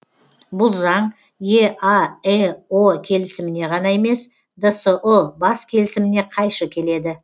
бұл заң еаэо келісіміне ғана емес дсұ бас келісіміне қайшы келеді